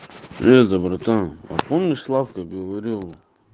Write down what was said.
железо братан а помнишь славка говорил